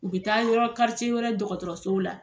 U bɛ taa yɔrɔ wɛrɛ dɔgɔtɔrɔsow la